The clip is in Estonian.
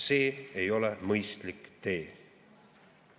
See ei ole mõistlik tee.